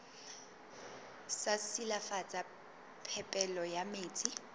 sa silafatsa phepelo ya metsi